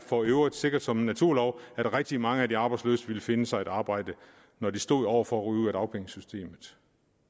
for øvrigt sikkert som en naturlov at rigtig mange af de arbejdsløse ville finde sig et arbejde når de stod over for at ryge ud af dagpengesystemet